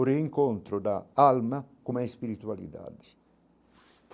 O reencontro da alma com a espiritualidade.